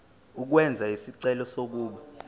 ukwenza isicelo sokuba